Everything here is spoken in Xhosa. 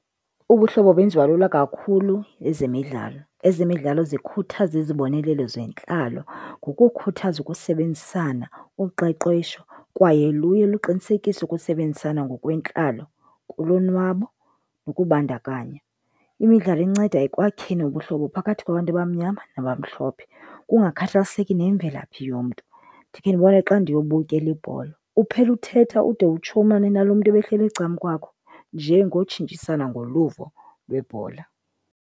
Ubuhlobo benziwa lula kakhulu zezemidlalo. Ezemidlalo zikhuthaza izibonelelo zentlalo ngokukhuthaza ukusebenzisana, uqeqesho kwaye luye luqinisekise ukusebenzisana ngokwentlalo kulonwabo nokubandakanya. Imidlalo inceda ekwakheni ubuhlobo phakathi kwabantu abamnyama nabamhlophe, kungakhathaliseki nemvelaphi yomntu. Ndikhe ndibone xa ndiyobukela ibhola, uphela uthetha ude utshomane nalo mntu ebehleli ecamkwakho nje ngotshintshisana ngoluvo lwebhola.